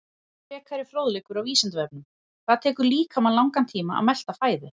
Frekari fróðleikur á Vísindavefnum: Hvað tekur líkamann langan tíma að melta fæðu?